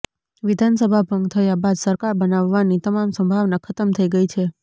વિધાનસભા ભંગ થયા બાદ સરકાર બનાવવાની તમામ સંભાવના ખતમ થઈ ગઈ છે